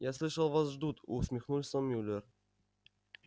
я слышал вас ждут усмехнулся мюллер